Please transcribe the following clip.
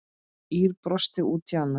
Ýr brosti út í annað.